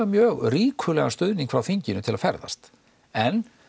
mjög ríkulegan stuðning frá þinginu til þess að ferðast en